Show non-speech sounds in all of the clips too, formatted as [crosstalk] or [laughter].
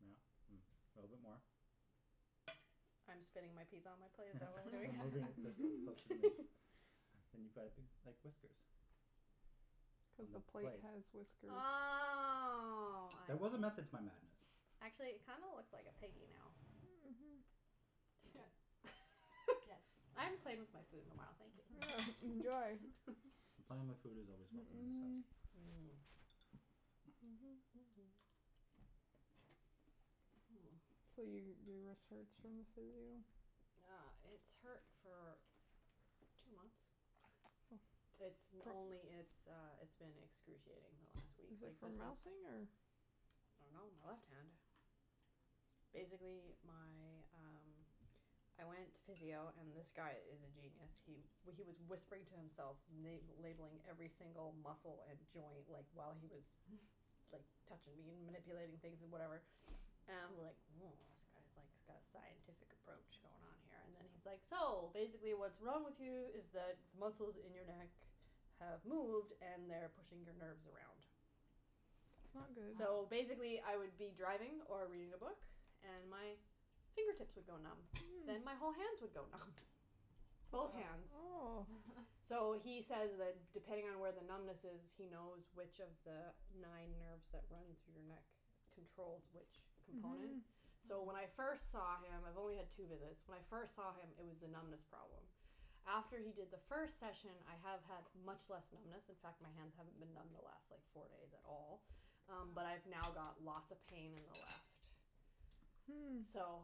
Yeah. A little bit more. I'm spinning my pizza on my plate, is that what we're You're doing? moving this closer to me. And you've got a big, like, whiskers on The the plate plate. has whiskers. Oh, I There was a see. method to my madness. Actually, it kind of looks like a piggy now. Mhm, yeah. Yes, [laughs] I haven't played with my food in a while, thank you. Enjoy. Playing with food is always welcome in this house. Mhm. So, your your wrist hurts from the physio. Yeah, it's hurt for two months. It's only it's uh, it's been excruciating the last week. Is it from ralphing or? I don't know. My left hand. Basically, my, um, I went to physio, and this guy is a genius. He he was whispering to himself, la- labelling every single muscle and joint, like, while he was like touching me and manipulating things and whatever [noise] and I'm like woah, this guy's like got a scientific approach going on here. And then he's like, so, basically what's wrong with you is that muscles in your neck have moved and they're pushing your nerves around. That's not good. So basically, I would be driving or reading a book and my fingertips would go numb, then my whole hands would go numb. Both hands. Oh. So he says that depending on where the numbness is, he knows which of the nine nerves that run through your neck controls which component. Mhm. So when I first saw him. I've only had two visits. When I first saw him, it was the numbness problem. After he did the first session, I have had much less numbness. In fact, my hands haven't been numb the last like four days at all, but I've now got lots of pain in the left. Hm. So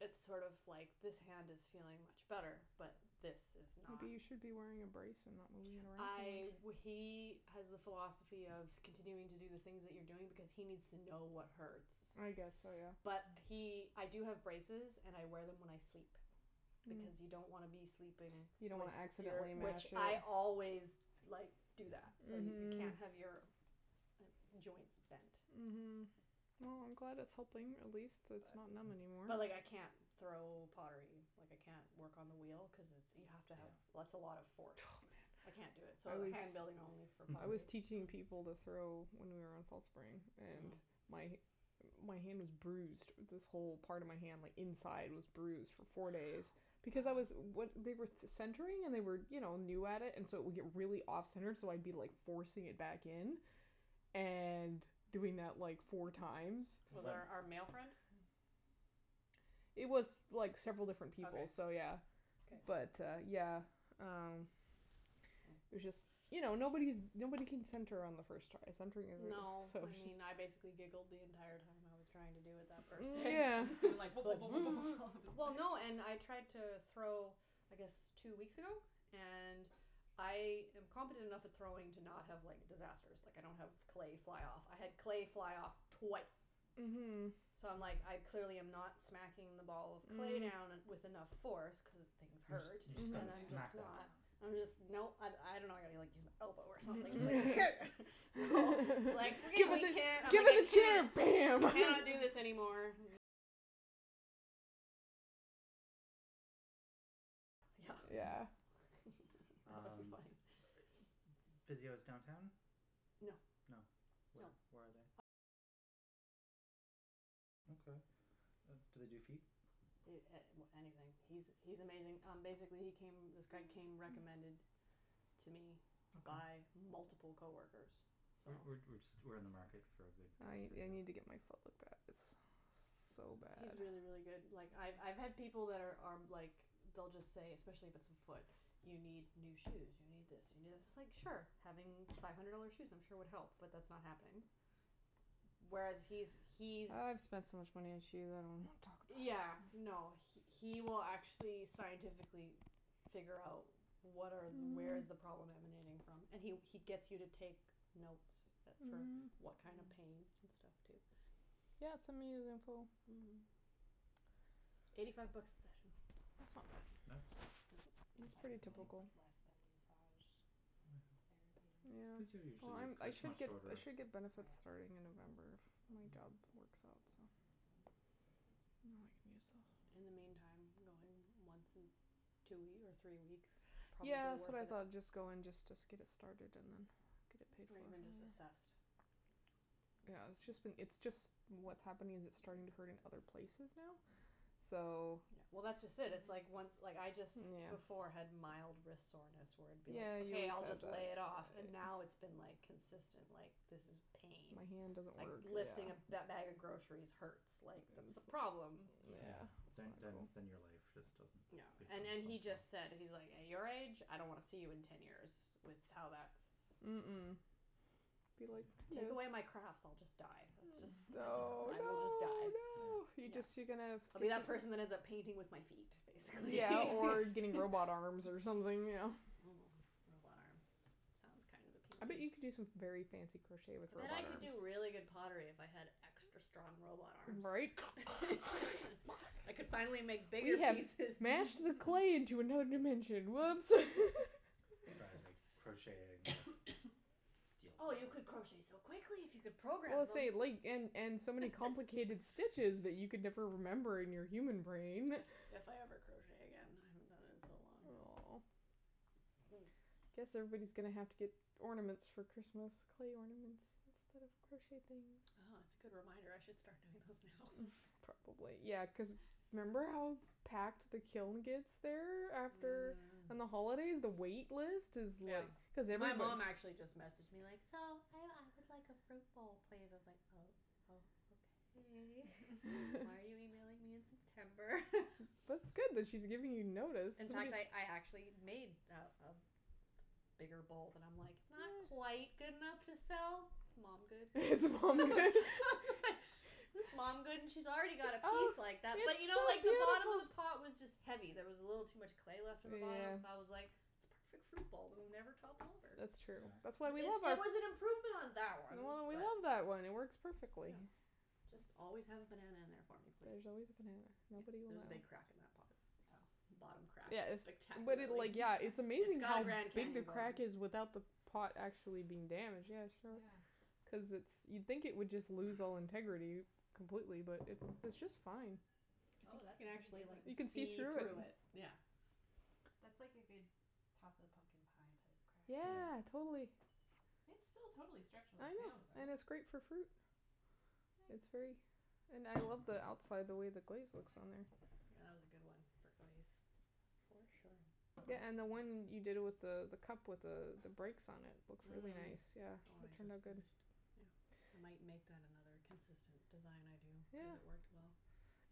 it's sort of like this hand is feeling much better, but this is not. Maybe you should be wearing a brace and not moving it around I too much. he has the philosophy of continuing to do the things that you're doing because he needs to know what hurts. I guess so, yeah. But he I do have braces and I wear them when I sleep. Because you don't want to be sleeping You if don't want to you're. accidentally mash Which I it. always like do that so, you can't have your joints bent. Mhm. Well, I'm glad it's helping. At least it's not numb anymore. But but like I can't throw pottery, like I can't work on the wheel cuz you have to have- That's a lot of force. Oh, I yeah. can't do it, so hand building only for I was pottery. teaching people to throw, when we were on Fall Spring, and my hand was bruised. This whole part of my hand like inside was bruised for four days because I was- They were centering and they were you know new at it and so it would get really off center, so I'd be like forcing it back in and doing that like four times. Was it our our male friend? It was like several different people, so Okay. yeah. Okay. But uh yeah, um, it was just, you know, nobody's nobody can center on the first try. Centring is No. [inaudible] so I mean, I basically just. giggled the entire time I was trying to do it that first day. Yeah. Like [noise] Well, no, and I tried to throw I guess two weeks ago. And I am competent enough at throwing to not have like disasters. Like, I don't have clay fly off. I had clay fly off twice. Mhm. So I'm like I clearly am not smacking the ball of clay down with enough force cuz things You just hurt. you just got to smack that down. I'm just no. I- I don't know I gotta like use my elbow or something. Here. [laughs] Give it the I chair! can't Bam! I cannot do this anymore. Yeah. Um, Funny. physio's downtown? No. No? Where where are they? Okay. Do they do feet? A- Anything. He's he's amazing. Um basically, he came, this guy came recommended to me by multiple coworkers, so. We're we're we're just we're in the market for a good guy I for I physio. need to get my foot looked at. It's so bad. He's really, really good. Like, I've I've had people that are are like they'll just say, especially if it's a foot, you need new shoes, you need this, you need this. It's like, sure, having five hundred dollar shoes I'm sure would help, but that's not happening. Whereas he's he's. I've spent so much money on shoes. I don't want to talk about Yeah, it. no, he will actually scientifically figure out what are where is the problem emanating from. And he he gets you to take notes for what kind of pain and stuff, too. Yeah, send me his info. Eighty five bucks a session. That's not That's bad. That's that's pretty pretty That's like normal. typical. less than massage therapy. Yeah, Physio well, usually is I'm cuz I it's should much I shorter. should get benefits starting in November, if my job works out, so. Then I can use those. In the meantime, I'm going once in two or three weeks is probably Yeah, that's worth what I it. thought. Just go and just get it started and then get it paid Or for. even just assessed. Yeah, it's just been it's just what's happening is, it's starting to hurt in other places now, so. Yeah, well, that's just it. It's like once like I just before had mild wrist soreness where it would be Yeah, you okay, I'll said just lay that. it off. And now it's been like consistent like this is pain. My hand doesn't Like, work, lifting a yeah. bag of groceries hurts. Like, that's a problem. Yeah, Yeah, that's then then then your life awful. just doesn't No, become and and he functional. just said, he's like, at your age, I don't want to see you in ten years with how that's. Mm- mm. Be Take away my like, crafts, I'll just no! die. That's just Oh, no, I will just no, die. no. You No, just you're gonna. I'll be that person that ends up painting with my feet, basically. Yeah, or [laughs] getting robot arms or something, you know. Robot arms. Sounds kind of I bet appealing. you could do some very fancy crochet with I robot bet I could arms. do really good pottery if I had extra strong robot arms. Right? I could finally make bigger We have pieces. mashed the clay into another dimension. Whoops. [laughs] Or crocheting. Oh, you could crochet so quickly if you could Well, program them. say, like, and and so many complicated stitches that you could never remember in your human brain. If I ever crochet again. I haven't done it in so long. Oh. I guess everybody's going to have to get ornaments for Christmas, clay ornaments, instead of crocheted things. Oh, that's a good reminder. I should start doing those now. Probably. Yeah, cuz remember how packed the kiln gets there after? On the holidays, the wait list is Yeah. like. My mom actually just messaged me, like, so, I would like a fruit bowl, please. I was like oh, oh, okay. Why are you emailing me in September? [laughs] That's good that she's giving you notice. In fact, I I actually made a a bigger bowl. And I'm like it's not quite good enough to sell, it's mom good. [laughs] It's mom good. [laughs] It's mom good, and she's already got a piece like that, but you know like the bottom of the pot was just heavy. There was a little too much clay left in the bottom, so I was like it's a perfect fruit bowl, it will never topple over. That's true. That's why we love our. It was an improvement on that one. We But. love that one, it works perfectly. Just always have a banana in there for me, There's please. always a banana. Nobody will. There's a big crack in that pot. Oh. The bottom crack is Yes but spectacular. it, like, yeah. It's It's amazing got a how Grand big the Canyon going. crack is without the pot actually being damaged. Yeah, show her. Yeah. Cuz it's you'd think it would just lose all integrity completely, but it it's just fine. Oh, that's a You can pretty actually good one. like You can see see through it. through it, yeah. That's like a good top of the pumpkin pie type crack. Yeah, totally. It's still totally structurally I know, sound, though. and it's great for fruit. It's very. Nice. And I love the outside, the way the glaze looks on there. Yeah, that was a good one for glaze. For sure. Yeah, and the one you did with the the cup with the the breaks on it, it looks really nice, The yeah., one it I turned out just good. finished. Yeah. I might make that another consistent design I do Yeah. cuz it worked well.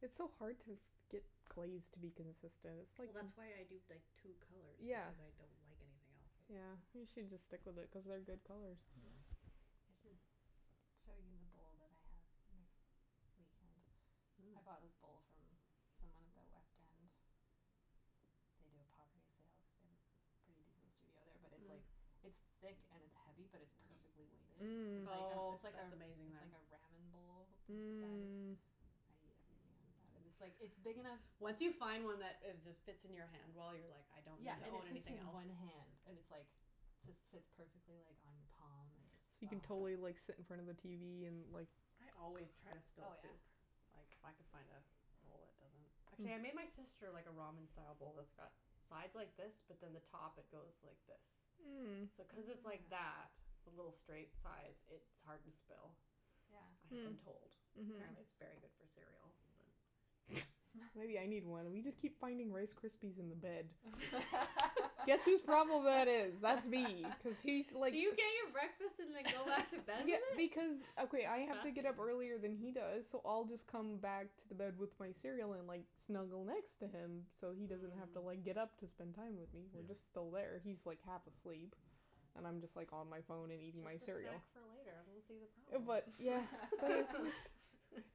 It's so hard to get glaze to be consistent, it's like. Well, that's why I do, like, two colours Yeah. because I don't like anything else. Yeah, you should just stick with it cuz they're good colours. Yeah. I should show you the bowl that I have next weekend. I bought this bowl from someone at the west end. They do a pottery sale cuz they have a pretty decent studio there, but it it's like it's thick and it's heavy, but it's perfectly weighted. It's like, Oh, it's like, that's amazing, it's then. like a ramen bowl size. Mm. I eat everything out of that. And it's like it's big enough. Once you find one that is just fits in your hand well, you're like I don't need Yeah, to and it own fits anything in else. one hand and it's like just sits perfectly like on your palm and just. So you can totally like sit in front of the tv and like. I always try to Oh spill yeah. soup. If I could find a bowl that doesn't. Actually, I made my sister like a ramen style bowl that's got sides like this, but then the top it goes like this. Mm. So cuz it's like that with little straight sides, it's hard to spill, I have been told. Yeah. Apparently, it's really good for Mm. cereal. But. Mhm. Maybe I need one. We just keep finding Rice Krispies in the bed. Guess whose problem that is? That's me cuz he's like. Do you get your breakfast and then go back to bed with Yeah, it? because, That's okay. I have to get up earlier fascinating. than he does, so I'll just come back to the bed with my cereal and like snuggle next to him so he doesn't have to like get up to spend time with me. He's Yeah. just still there. He's like half asleep and I'm just like on my phone and eating my It's just a cereal. snack for later. I don't see the problem. But. [laughs] Yeah. [laughs] But it's like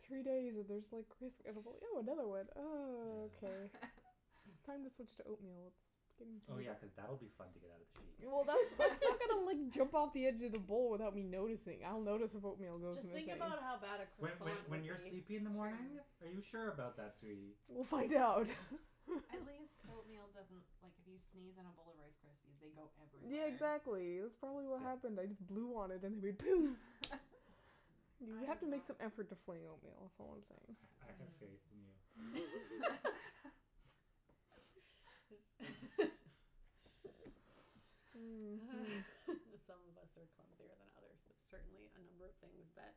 three days and there's like crisp. And I go, ew another one, and Yeah. okay. It's time to switch to oatmeal. Oh, yeah, cuz that'll be fun to get out of the sheets. Well, that's that's not going to like jump off of the edge of the bowl without me noticing. I'll notice if oatmeal goes Just think missing. about how bad a When when croissant when would That's you're be. sleepy in the morning? true. Are you sure about that, sweetie? We'll find out. [laughs] At least oatmeal doesn't, like, if you sneeze in a bowl of Rice Krispies, they go Yeah, everywhere. exactly. That's probably what happened. I just blew on it and it went poom! You have to make some effort to fling oatmeal, that's all I'm saying. I have faith in you. [laughs] Mm. Some of us are clumsier than others. There's certainly a number of things that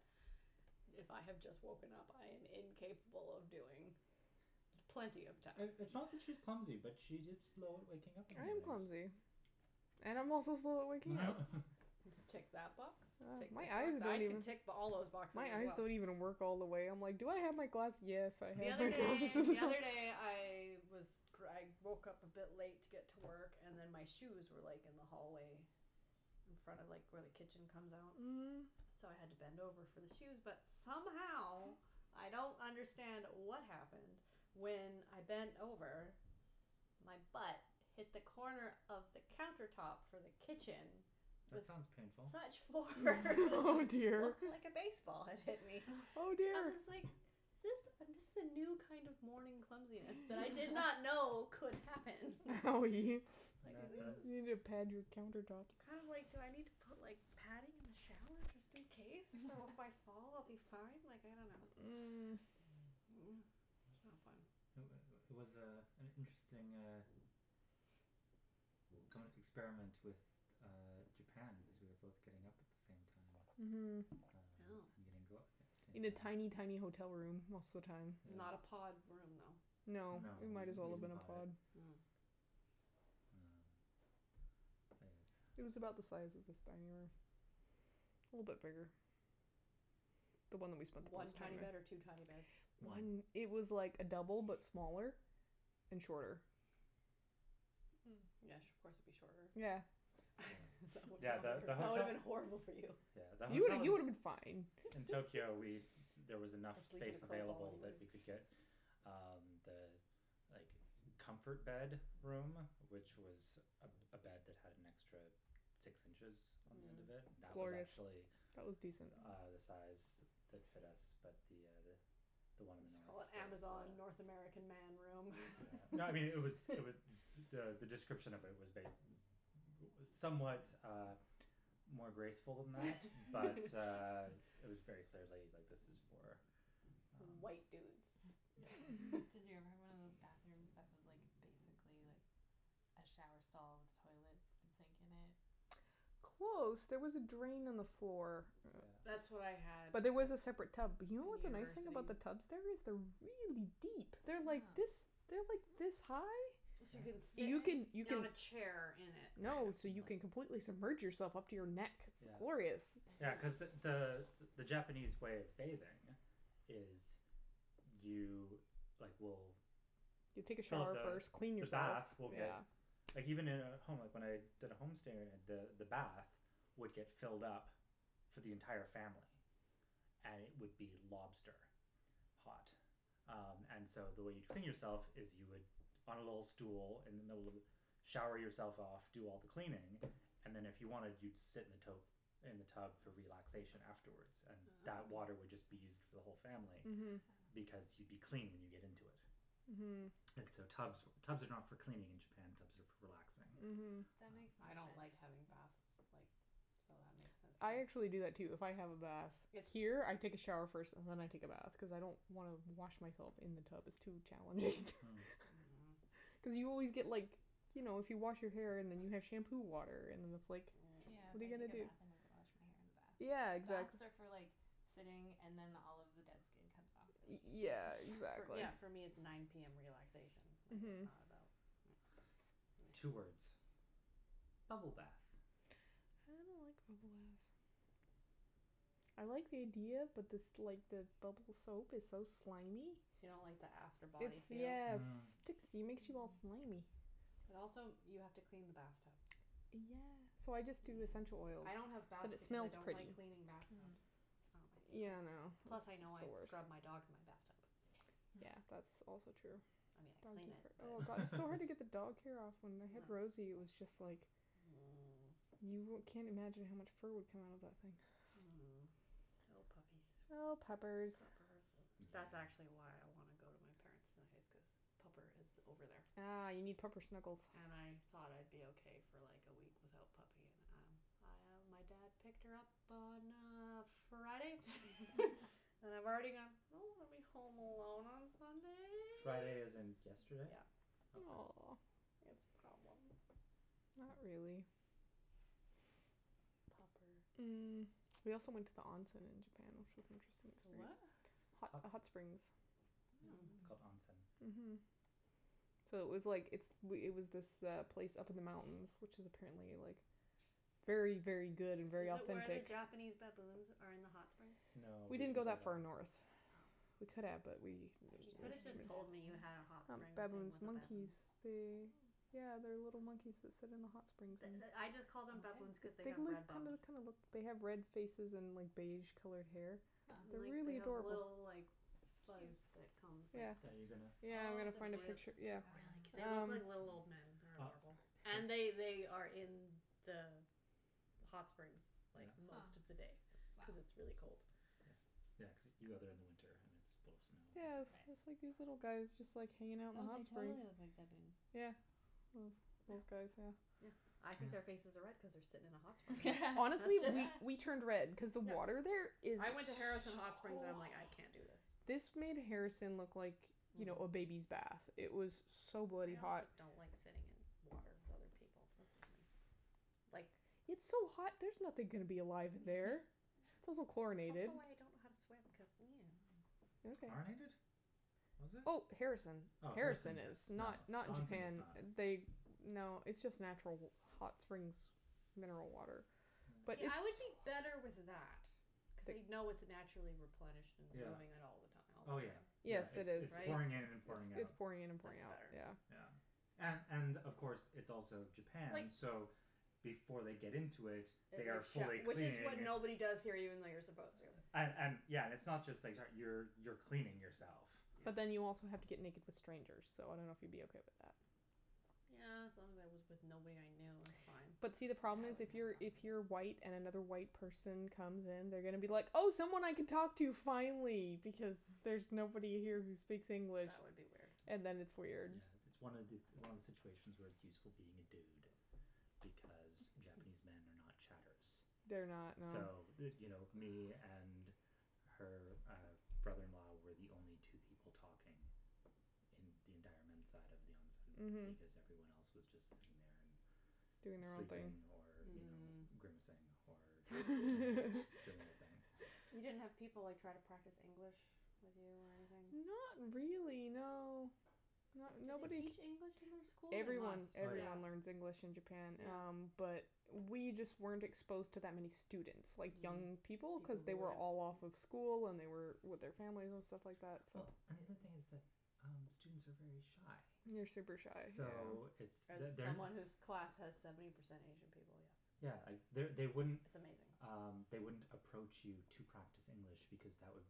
if I have just woken up, I am incapable of doing with plenty of time. It's not that she's clumsy, but she's just slow at waking up in the I am mornings. clumsy. And I'm also slow at waking up. Just tick that box, tick My this eyes one. I don't even. could tick all those boxes My as eyes well. don't even work all the way. I'm like, do I have my glass? Yes, I The have other my day, glasses. the other day I was I woke up a bit late to get to work and then my shoes were like in the hallway in front of like where the kitchen comes out. Mm. So I had to bend over for the shoes, but somehow I don't understand what happened. When I bent over, my butt hit the corner of the counter top for the kitchen. That With sounds painful. such force. Oh, It dear. looked like a baseball had hit me. Oh, I dear. was like is this, this is a new kind of morning clumsiness that I did not know could happen. Oh. That You, that you need is. to pad your counter tops. I'm like, do I need to put like padding in the shower just in case, so if I fall I'll be fine? Like, I don't know. Mm. That's not fun. It was was, uh, an interesting uh [inaudible] experiment with Japan because we were both getting up at the same time Mhm. and Oh. going out at the same In a tiny, time. tiny hotel room most of the time. Not a Yeah. pod room, though? No, No, it it was might as well bigger have than a been a pod. pod. Well, I guess. It was about the size of this dining room. A little bit bigger. The one that we spent the One most time tiny bed or in. two tiny beds? One. It was like a double but smaller and shorter. Mm. Yes, of course it would be shorter. Yeah. Yeah, yeah, the That would have hotel. been horrible for you. Yeah, the You hotel you in would have been fine. in Tokyo, we there was enough I sleep in a space curled ball available that anyway. we could get um the like comfort bed room, which was a a bed that had an extra six inches on the end of it, that was Glorious. actually That was decent. uh the size that fit us, but the the one Just call it the Amazon North [inaudible] American Man room. No, I mean, it was, it was [laughs] the the description of it was bas- it was somewhat more graceful than that, but it [laughs] was very clearly, like, this is for White dudes Um, Did you ever have yeah. one [laughs] of those bathrooms that was like basically like a shower stall with toilet and sink in it? Close. There was a drain on the floor. That's what I Yeah. had But there was a separate tub. But you know in what the nice thing university. about the tubs? There is they're really deep. They're like this, Huh. they're like this high. [inaudible] you can Yeah. sit You can, you on can. a chair in it kind [inaudible] of No, so you can like completely submerge yourself up to your neck. It's Yeah. glorious. Yeah, cuz the the the Japanese way of bathing is you like will You take a Fill up shower the first, clean the yourself, bath will get yeah. Like, even in a home, like when I did a home stay the the bath would get filled up for the entire family. And it would be lobster hot. Um, and so, the way you'd clean yourself is you would on a little stool in the middle of the, shower yourself off, do all the cleaning and then, if you wanted, you'd sit in the tote, in the tub for relaxation afterwards. And that Ah. water would just be used [noise] for the whole family. Mhm. Because you'd be clean when you get into it. Mhm. And so so tubs for tubs are not for cleaning in Japan, tubs are for relaxing. Mhm. That makes more I don't like having sense. baths, like, so that makes sense to I actually do me. that, too. If I have a bath here, I take a shower first and then I take a bath cuz I don't wanna wash myself in the tub; it's too challenging. Hm. Mhm. [laughs] Cuz you always get, like, you know, if you wash your hair and then you have shampoo water and then it's like Yeah, I what are you gonna take a do? bath and then [noise] wash my hair in the bath. Yeah, exactly. Baths are for like sitting and then all of the dead skin comes off Y- really easy. yeah, exactly. Yeah, for me it's [noise] nine PM. Relaxation. Like, it's Mhm. not about. Yeah. Two words: [inaudible] bubble bath. I don't like bubble baths. I like the idea, but this like the bubble soap is so slimy. You don't like the after body It's feel? yes it Mm. sticks, it makes you all slimy. Mm. And also, you have to clean the bath tub. Yeah. So I just do essential oils Yeah, I don't have because baths it because I smells don't pretty. like cleaning bath Mm. tubs. It's not my Yeah, I favorite. Plus, know, I know it's I've the scrubbed my worst. dog in my bath tub. Yeah, that's also [noise] true. [inaudible] I mean, I clean it, Oh, but. god, it's so hard to get the [laughs] dog hair off. When we had Rosie, it was just like [noise] you wou- can't imagine how much fur would come out of that thing. [noise] Oh, puppies. Oh, puppers. Puppers. That's actually Yeah. why I want to go to my parents' tonight is cuz pupper is over there. Ah, you need proper snuggles. And I thought I'd be okay for like a week without puppy and, um, my dad picked her up on, uh, Friday [laughs] [laughs] and I've already gone I don't want to be home alone on Friday as Sunday. in yesterday? Yeah. Okay. Aw. It's a problem. Not really. Popper. Mm. We also went to the onsen in Japan, which was interesting To what? experience. Hot Hot. hot springs. It's Mm. [noise] called onsen. Mhm. So it was like it's it was this place up in the mountains, which is apparently like very, very good and very Is it where the authentic. Japanese baboons are in the hot springs? No, we We didn't didn't go go that far there. north. Oh. We could have but we just There's You could have Japanese just [inaudible] told me you baboons? had a hot Um, spring things baboons, with monkeys. baboons. They Oh. Yeah, they're little monkeys that sit in the hot springs The and the I just called them baboons cuz they They've have red look bums. kinda [inaudible] kinda look, they have red faces and like beige colored hair. Huh. And They're like, they really have adorable. little, like, fuzz Cute. that comes like this. Are you gonna? Yeah, I'm going to find a picture, yeah. They look um like little old men. They Ah. are adorable. [noise] And they they are in the hot springs like Yeah. most of the day Huh. cuz it's really cold. [inaudible] Yeah, yeah cuz you go there in the winter and it's full snow. Yeah, it's it's like these little guys just like hanging out in the Oh, hot they springs. totally look like baboons. Yeah. Well, these guys, yeah. Yeah. I think their faces are red Yeah. cuz they're sitting in a hot spring. That's Honestly, [laughs] just. we we turned red Yeah. cuz the Yeah. water there is I went to so Harrison hot. Hot Springs and I'm like, "I can't do this". This made Harrison look like, you Mhm. know, a baby's bath. It was so bloody I hot. also don't like sitting in water with other people. That's just me. Like. It's so hot; there's nothing gonna be alive in there. It's also It's chlorinated. also why I don't know how to swim cuz [noise] Okay. Chlorinated? Was it? Oh, Harrison. Oh, Harrison Harrison yes. is, No, not not the onsen Japan. is not. They, no, it's just natural hot springs mineral water. But Yeah, it's I would be Yes. better with that cuz you know it's naturally replenished and Yeah. moving out all the time, Oh, yeah, right? Yes, yeah, it it's is. it's It's it's pouring in and pouring out. pouring in and pouring That's out, better. yeah. Yeah. And and, of course, it's also Like. Japan, so before they get into it, That they are they've fully showered. Which is when cleaning. nobody does here even though you're supposed to. And and, yeah. It's not just that how you you're cleaning yourself. But then you also have to get naked with strangers, so I don't know if you'd be okay with that. Yeah, as long as I was with nobody I knew, that's fine. But see, the I wouldn't have a problem is, if you're, if you're problem with it. white and another white person comes in, they're going to be like, oh, someone I can talk to finally, because there's nobody here who speaks English. That would be weird. And then it's weird. Yeah, it's one it's one of the situations where it's useful being a dude because Japanese men are not chatterers. They're not, So, no. you know, me and her uh brother in law were the only two people talking in the entire men's side of the Mhm. onsen. Because everyone else was just in there and Doing their own thing. sleeping or, you know, Mm. grimacing or or doing their [laughs] thing. You didn't have people like try to practice English with you or anything? Not really, no. Do they Nobody teach k- English in their school? They Everyone, must, Oh, yeah. yeah. everyone learns English in Japan um Yeah. But we just weren't exposed to that many students, like young people, cuz they were all off of school and they were [inaudible] with their family and stuff like that, so. Well, and the other thing is that uh students are very shy. They're super shy, So yeah. it's As they're they're not someone whose class has seventy percent Asian people, yes. Yeah, they It's they wouldn't amazing. Um, they wouldn't approach you to practice English because that would